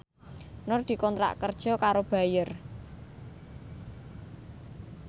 Nur dikontrak kerja karo Bayer